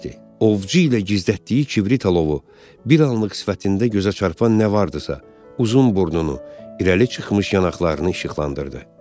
Ovçu ilə gizlətdiyi kibrit alovu bir anlıq sifətində gözə çarpan nə vardısa, uzun burnunu, irəli çıxmış yanaqlarını işıqlandırdı.